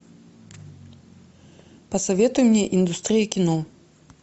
посоветуй мне индустрия кино